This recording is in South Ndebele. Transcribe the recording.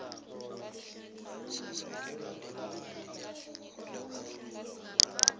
sesekelo leemali lekoro